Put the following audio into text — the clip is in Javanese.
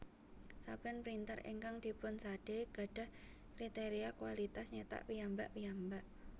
Saben printer ingkang dipunsade gadhah kriteria kualitas nyetak piyambak piyambak